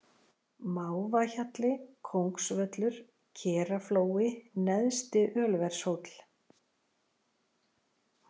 Mávahjalli, Kóngsvöllur, Keraflói, Neðsti-Ölvershóll